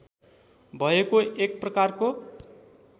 भएको एक प्रकारको